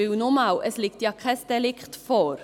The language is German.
Weil, nochmals: Es liegt ja kein Delikt vor.